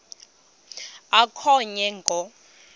a okanye ngo